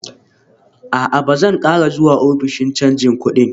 A'a, Ba zan ƙara zuwa ofishin canji kudin